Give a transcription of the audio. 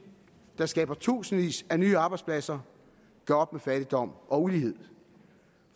der skaber tusindvis af nye arbejdspladser gør op med fattigdom og ulighed